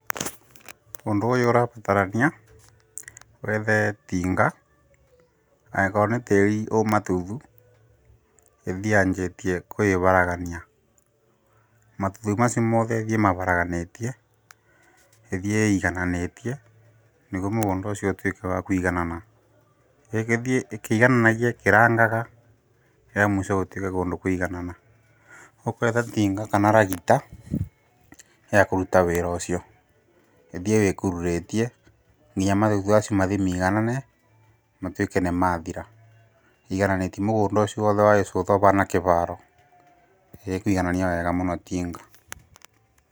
Ũndũ ũyũ ũrabatarania, wethe tinga, angĩkorwo nĩ tĩrĩ wĩ matutu, ĩthiĩ yanjĩtie kũharagania. Matutu macio mothe ĩthiĩ ĩkĩharaganagia, ĩthiĩ ĩigananĩtie, nĩguo mũgũndũ ũcio ũtuĩke wa kũiganana. Ĩngĩthiĩ ĩkĩigananagia ĩkĩrangaga, rĩa mũico gũtigagwo nĩ kwaiganana. Ũgwetha tinga kana ragita ya kũruta wĩra ũcio. Ĩthiĩ ĩkururĩtie, nginya matutu macio mathi ĩigaanĩtie, matuĩke nĩ mathira. Ĩigananĩtie mũgũndũ ũcio wothe ũgũkorwo ũhana kĩharo. Ĩkuiganania wega mũno tinga.